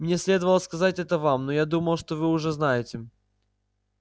мне следовало сказать это вам но я думал что вы уже знаете